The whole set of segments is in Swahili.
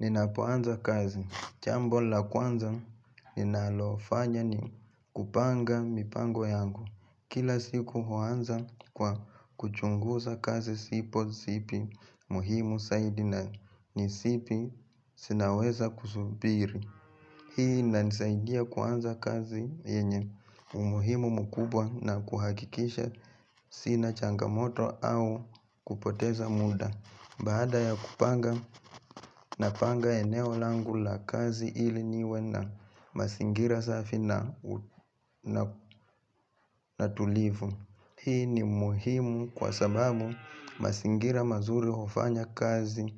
Ninapoanza kazi. Jambo la kwanza ninalofanya ni kupanga mipango yangu. Kila siku huanza kwa kuchungusa kazi sipo sipi muhimu saidi na ni sipi sinaweza kusubiri. Hii inanisaidia kuanza kazi yenye umuhimu mkubwa na kuhakikisha sina changamoto au kupoteza muda. Baada ya kupanga na panga eneo langu la kazi ili niwe na masingira safi na na tulivu. Hii ni umuhimu kwa sababu masingira mazuri hufanya kazi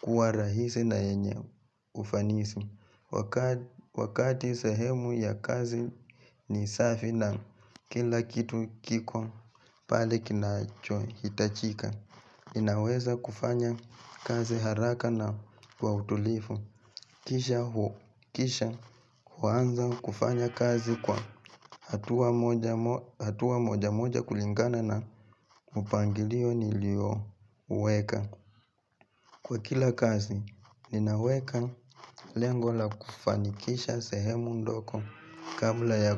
kuwa rahisi na yenye ufanisi. Wakati sehemu ya kazi ni safi na kila kitu kiko pale kinacho hitachika Ninaweza kufanya kazi haraka na kwa utulifu Kisha huanza kufanya kazi kwa hatua moja mo hatua moja moja kulingana na mpangilio nilio uweka. Kwa kila kazi, ninaweka lengo la kufanikisha sehemu ndogo kabla ya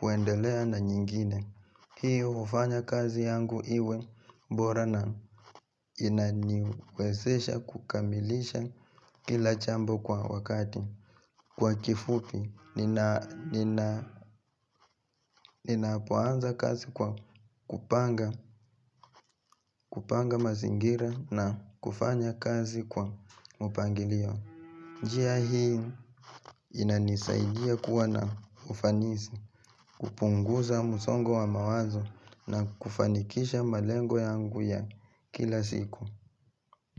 kuendelea na nyingine. Hiyo hufanya kazi yangu iwe bora na inaniwezesha kukamilisha kila jambo kwa wakati. Kwa kifupi, nina nina nina poanza kazi kwa kupanga kupanga mazingira na kufanya kazi kwa mpangilio. Njia hii inanisaidia kuwa na ufanisi, kupunguza msongo wa mawazo na kufanikisha malengo yangu ya kila siku.